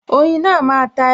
Oyin náà máa ta e